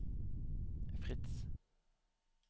Frits